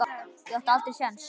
Ég átti aldrei séns.